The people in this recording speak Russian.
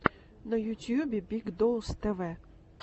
на ютюбе биг доус тэ вэ